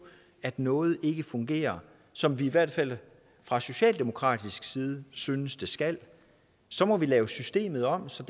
at noget ikke fungerer som vi i hvert fald fra socialdemokratisk side synes det skal så må vi lave systemet om så